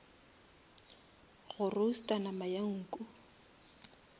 go roaster nama ya nku